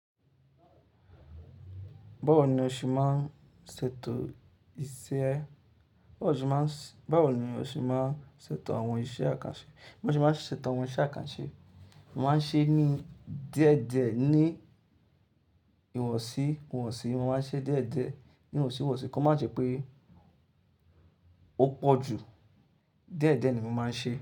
Báwo ni o ṣe máa ń ṣètò iṣẹ́ ẹ? Báwo ni o ṣe máa ń ṣètò àwọn iṣẹ́ àkànṣe? Mo máa ń ṣẹ́ ṣètò àwọn iṣẹ́ àkànṣe. Mo máa ń ṣe é ní die diẹ ní ìwọ̀sí, ìwọ̀sì. Mo máa ń ṣe é diẹ́ diẹ ní ìwọ̀sí, ìwọ̀sì kí ó má jẹ́ pé ó pọ̀ jù. Dẹ́dẹ ni mo máa ń ṣe é.